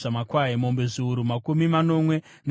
mombe zviuru makumi manomwe nezviviri,